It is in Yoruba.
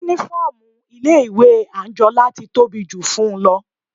Uniform ilé ìwé Anjola ti tóbi jù fún-un lọ.